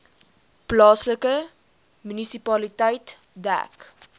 plaaslike munisipaliteit dek